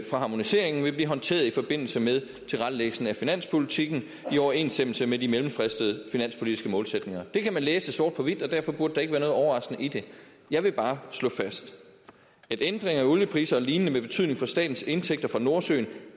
fra harmoniseringen vil blive håndteret i forbindelse med tilrettelæggelsen af finanspolitikken i overensstemmelse med de mellemfristede finanspolitiske målsætninger det kan man læse sort på hvidt og derfor burde der ikke være noget overraskende i det jeg vil bare slå fast at ændringer af oliepriserne og lignende med betydning for statens indtægter fra nordsøen